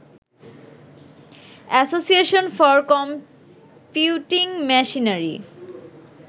association for computing machinery